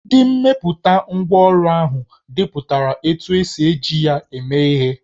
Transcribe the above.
Ndị mepụtara ngwá ọrụ ahụ depụtara otú e si eji ya eme ihe